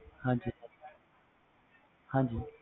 ਹਾਜੀ